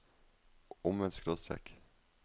omvendt skråstrek